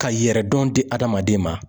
Ka yɛrɛ dɔn di adamaden ma.